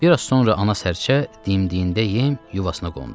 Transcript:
Bir az sonra ana sərçə dimdiyində yem yuvasına qondu.